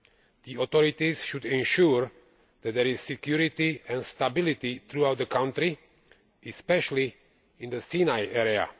The authorities should ensure that there is security and stability throughout the country, especially in the Sinai area.